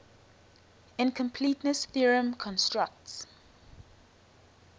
incompleteness theorem constructs